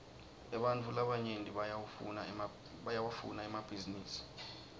ebantfu labanyenti bayawafuna emabhisinisi